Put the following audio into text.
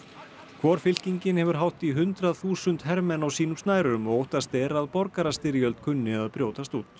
hvor fylkingin hefur hátt í hundrað þúsund hermenn á sínum snærum og óttast er að borgarastyrjöld kunni að brjótast út